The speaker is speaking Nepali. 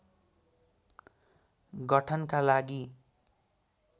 गठनका लागि